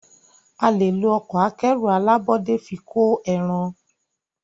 a lẹ ló Ọkọ̀ akẹ́rù alábọ́dé fí kọ èràn.